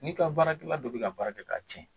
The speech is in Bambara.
N'i ka baarakɛla dɔ be ka baara kɛ ka cɛn